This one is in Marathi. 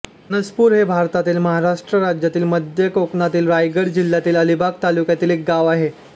फणसपूर हे भारतातील महाराष्ट्र राज्यातील मध्य कोकणातील रायगड जिल्ह्यातील अलिबाग तालुक्यातील एक गाव आहे